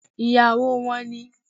Ìyàwó wọn ni